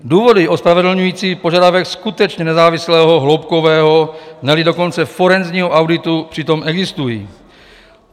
Důvody ospravedlňující požadavek skutečně nezávislého hloubkového, ne-li dokonce forenzního auditu přitom existují.